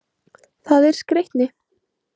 Það er skreytni.